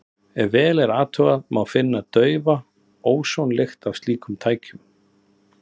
Ef vel er athugað, má finna daufa ósonlykt af slíkum tækjum.